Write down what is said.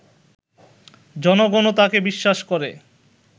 জনগণও তাঁকে বিশ্বাস করে